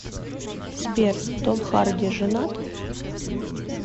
сбер том харди женат